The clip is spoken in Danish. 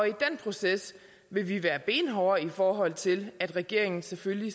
i den proces vil vi være benhårde i forhold til at regeringen selvfølgelig